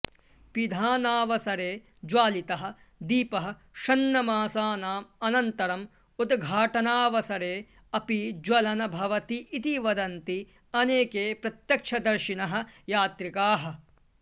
पिधानावसरे ज्वालितः दीपः षण्मासानाम् अनन्तरम् उद्घाटनावसरे अपि ज्वलन् भवति इति वदन्ति अनेके प्रत्यक्षदर्शिनः यात्रिकाः